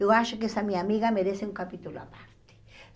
Eu acho que essa minha amiga merece um capítulo a parte.